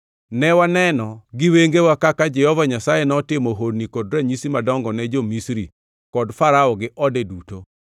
Ne waneno gi wengewa kaka Jehova Nyasaye notimo honni kod ranyisi madongo ne jo-Misri kod Farao gi ode duto.